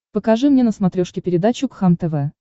покажи мне на смотрешке передачу кхлм тв